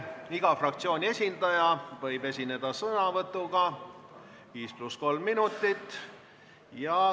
Iga fraktsiooni esindaja võib esineda sõnavõtuga, kestus 5 + 3 minutit.